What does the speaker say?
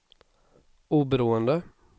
oberoende